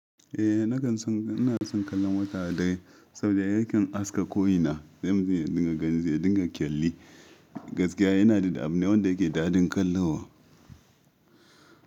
Eh na kan son ina son kallon wataa dare saboda yakan haska ko ina sai mutum yaga zai gani zai dinga kyalli. Gaskiya yana da da abune wanda yake daɗin kallowa.